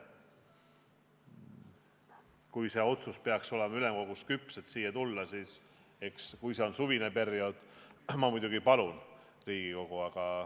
Kui see otsus peaks olema ülemkogus küps, et sellega siia tulla, siis eks – kui see on suvine periood – ma muidugi palun Riigikogu.